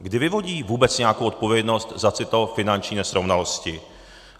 Kdy vyvodí vůbec nějakou odpovědnost za tyto finanční nesrovnalosti?